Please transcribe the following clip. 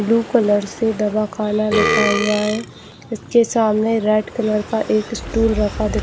blue colour से दवाखाना लिखा हुआ है जिसके सामने रेड कलर का एक स्टूल दिखा--